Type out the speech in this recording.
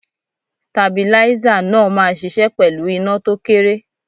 Stabilízà náà máa ṣiṣẹ́ pẹ̀lú iná tó kéré.